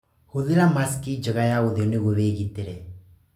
Hũthĩra mask njega ya ũthiũ nĩguo wĩgitĩre.